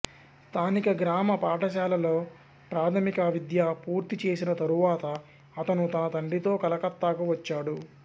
స్థానిక గ్రామ పాఠశాలలో ప్రాథమిక విద్య పూర్తి చేసిన తరువాత అతను తన తండ్రితో కలకత్తాకు వచ్చాడు